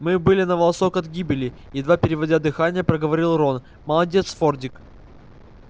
мы были на волосок от гибели едва переводя дыхание проговорил рон молодец фордик